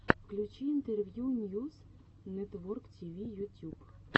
включи интервью ньюс нэтворктиви ютюб